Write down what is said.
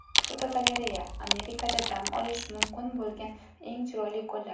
Fotogalereya: Amerikada dam olish mumkin bo‘lgan eng chiroyli ko‘llar.